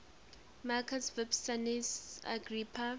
marcus vipsanius agrippa